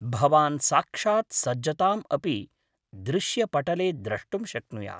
भवान् साक्षात् सज्जताम् अपि दृश्यपटले द्रष्टुं शक्नुयात्।